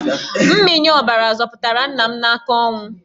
Mmịnye ọbara zọpụtara nna m n'aka ọnwụ.